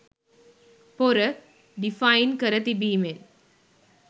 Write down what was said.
"පොර" ඩිෆයින් කර තිබීමෙන්